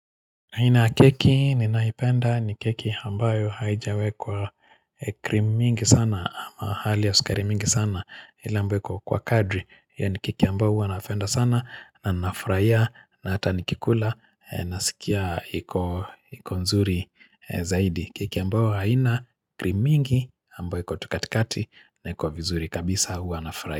Nina keki ninaipenda ni keki ambayo haijawekwa cream mingi sana ama hali ya sukari mingi sana, ile ambayo iko kwa kadri yani keki ambayo huwanapenda sana na nafurahia na hata nikikula nasikia iko ikonzuri zaidi keki ambayo haina cream mingi ambayo iko tu katikati na kwa vizuri kabisa nafurahia.